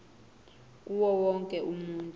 kuwo wonke umuntu